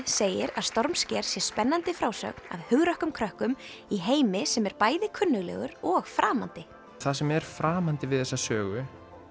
segir að stormsker sé spennandi frásögn af hugrökkum krökkum í heimi sem er bæði kunnuglegur og framandi það sem er framandi við þessa sögu